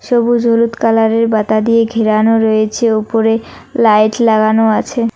সবুজ হলুদ কালারের বাতা দিয়ে ঘেরানো রয়েছে ওপরে লাইট লাগানো আছে।